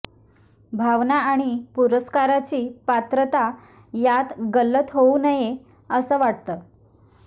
भावना आणि पुरस्काराची पात्रता यात गल्लत होउ नये असं वाटतं